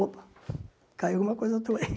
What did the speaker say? Opa, caiu alguma coisa tua aí.